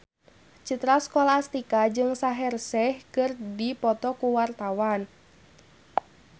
Citra Scholastika jeung Shaheer Sheikh keur dipoto ku wartawan